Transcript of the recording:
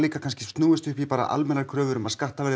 kannski snúist upp í almennar kröfur um að skattar verði